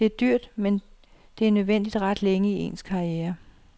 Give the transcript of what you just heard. Det er dyrt, men det er nødvendigt ret længe i ens karriere.